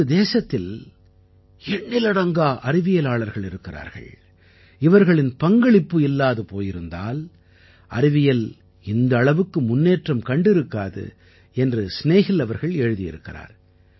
நமது தேசத்தில் எண்ணிலடங்கா அறிவியலாளர்கள் இருக்கிறார்கள் இவர்களின் பங்களிப்பு இல்லாது போயிருந்தால் அறிவியல் இந்த அளவுக்கு முன்னேற்றம் கண்டிருக்காது என்று ஸ்நேஹில் அவர்கள் எழுதியிருக்கிறார்